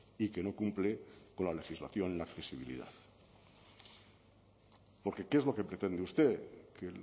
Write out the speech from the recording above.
y que no cumple con la legislación en la accesibilidad porque qué es lo que pretende usted que